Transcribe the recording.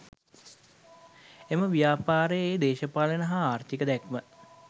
එම ව්‍යාපාරයේ දේශපාලන හා ආර්ථික දැක්ම